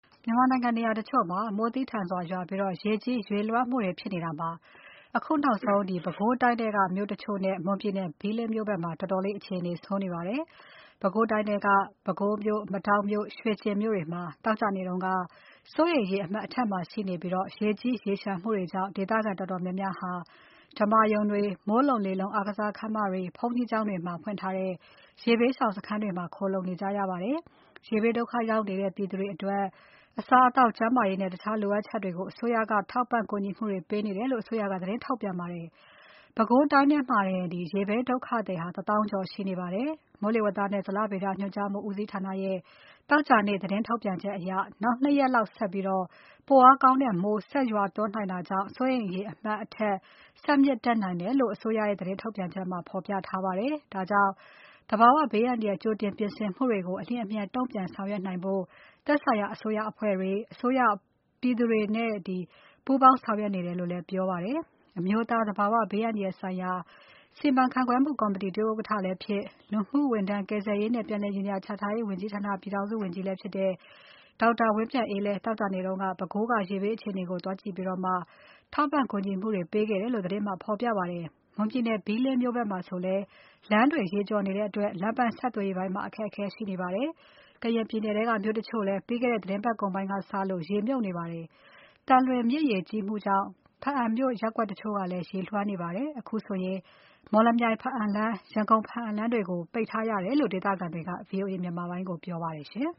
မြန်မာနိုင်ငံနေရာတချို့မှာ မိုးသည်းထန်စွာရွာပြီး ရေကြီး ရေလွှမ်းမိုးနေတာမှာ အခုနောက်ဆုံး ပဲခူးတိုင်းထဲက မြို့တချို့နဲ့ မွန်ပြည်နယ် ဘီးလင်းမြို့ဖက်မှာ တော်တော်လေး အခြေအနေဆိုးနေပါတယ်။ ပဲခူးတိုင်းထဲက ပဲခူးမြို့၊ မဒေါက်မြို့၊ ရွှေကျင်မြို့တွေမှာ သောကြာနေ့က စိုးရိမ်ရေ အမှတ် အထက်မှာရှိနေပြီး ရေကြီး ရေလျှံမှုတွေကြောင့် ဒေသခံတော်တော် များများဟာ ဓမ္မာရုံတွေ၊ မိုးလုံလေလုံ အားကစားခန်းမတွေ၊ ဘုန်းကြီးကျောင်း တွေမှာ ဖွင့်ထားတဲ့ ရေဘေးရှောင်စခန်းတွေမှာ ခိုလှုံနေကြရပါတယ်။ ရေဘေး ဒုက္ခ ရောက်နေတဲ့ပြည်သူတွေအတွက် အစားအသောက်၊ ကျန်းမာရေးနဲ့ တခြားလိုအပ်ချက်တွေကို အစိုးရက ထောက်ပံ့ ကူညီနေတယ်လို့ အစိုးရက သတင်းထုတ်ပြန်ပါတယ်။ ပဲခူးတိုင်းထဲမှာတင် ရေဘေးဒုက္ခသည် ၁ သောင်းကျော် ရှိနေပါတယ်။ မိုးလေဝသနဲ့ ဇလဗေဒညွှန်ကြားမှု ဦးစီးဌာနရဲ့ သောကြာနေ့ သတင်းထုတ်ပြန် ချက်အရ နောက် ၂ ရက် လောက်ဆက်ပြီး ပိုအားကောင်းတဲ့ မိုးရွာသွန်းနိုင် တာကြောင့် စိုးရိမ်ရေအမှတ် အထက် ဆက်မြင့်တက် နိုင်တယ်လို့ အစိုးရရဲ့ သတင်းထုတ်ပြန်ချက်ထဲမှာ ဖော်ပြထားပါတယ်။ ဒါကြောင့် သဘာဝ ဘေး အန္တရာယ် ကြိုတင် ပြင်ဆင်မှုတွေကို အလျင်အမြန် တုံ့ပြန်ဆောင်ရွက်နိုင်ဖို့ သက်ဆိုင်ရာ အစိုးရအဖွဲ့တွေ၊ အစိုးရအဖွဲ့တွေနဲ့ ပြည်သူတွေ ပူးပေါင်းဆောင်ရွက် နေတယ်လို့လည်း ပြောပါတယ်။ အမျိုးသား သဘာဝဘေး အန္တရာယ်ဆိုင်ရာ စီမံခန့်ခွဲမှုကော်မတီ ဒုတိယဥက္ကဋ္ဌ လည်းဖြစ်၊ လူမှုဝန်ထမ်း၊ ကယ်ဆယ်ရေနဲ့ ပြန်လည်နေရာချထားရေးဝန်ကြီးဌာန ပြည်ထောင်စုဝန်ကြီး ဒေါက်တာ ဝင်းမြတ်အေးလည်း သောကြာနေ့က ပဲခူးက ရေဘေးအခြေကို သွားကြည့်ပြီး ထောက်ပံ့ကူညီမှုတွေ ပေးခဲ့တယ်လို့ သတင်းမှာ ဖော်ပြပါတယ်။ မွန်ပြည်နယ် ဘီလင်းမြို့ဖက်မှာဆိုလည်း လမ်းတွေရေကျော်နေတဲ့အတွက် လမ်း ပန်းဆက်သွယ်ရေးပိုင်း အခက်အခဲ ရှိနေပါတယ်။ ကရင်ပြည်နယ်ထဲက မြို့ တချို့ လည်း ပြီးခဲ့တဲ့သီတင်းပါတ်ကုန်ပိုင်းကစလို့ ရေမြုပ်နေကြပါတယ်။ သံလွင်မြစ်ရေ ကြီးမှုကြောင့် ဘားအံမြို့ရပ်ကွက်တချို့လည်း ရေလွှမ်းနေပါတယ်။ အခုဆိုရင် မော်လမြိုင် ဘားအံလမ်း၊ ရန်ကုန် ဘားအံလမ်းတွေကို ပိတ်ထားရတယ်လို့ ဒေသခံတွေက VOA မြန်မာပိုင်းကို ပြောပါတယ်။